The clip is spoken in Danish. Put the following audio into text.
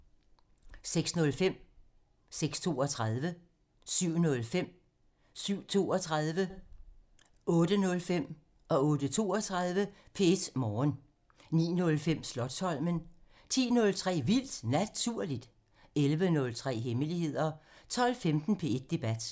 06:05: P1 Morgen (Afs. 249) 06:32: P1 Morgen (Afs. 249) 07:05: P1 Morgen (Afs. 249) 07:32: P1 Morgen (Afs. 249) 08:05: P1 Morgen (Afs. 249) 08:32: P1 Morgen (Afs. 249) 09:05: Slotsholmen (Afs. 40) 10:03: Vildt Naturligt (Afs. 40) 11:03: Hemmeligheder 12:15: P1 Debat (Afs. 152)